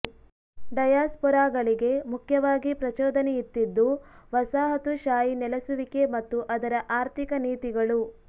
ಡಯಾಸ್ಪೊರಾಗಳಿಗೆ ಮುಖ್ಯವಾಗಿ ಪ್ರಚೋದನೆಯಿತ್ತಿದ್ದು ವಸಾಹತುಶಾಹಿ ನೆಲಸುವಿಕೆ ಮತ್ತು ಅದರ ಆರ್ಥಿಕ ನೀತಿಗಳು